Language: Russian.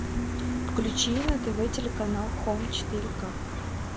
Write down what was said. включи на тв телеканал хом четыре к